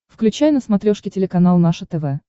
включай на смотрешке телеканал наше тв